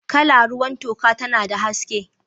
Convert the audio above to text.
Kala ruwan toka tana da haske.